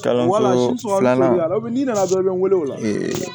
Kalanso filanan filanan bɛ n wele o la